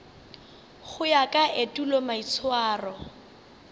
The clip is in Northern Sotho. go ya ka etulo maitshwaro